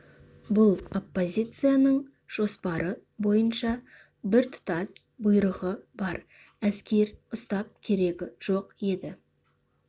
бұл оппозицияның жоспары бойынша біртұтас бұйрығы бар әскер ұстап керегі жоқ еді